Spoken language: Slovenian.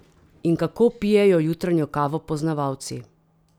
In kako pijejo jutranjo kavo poznavalci?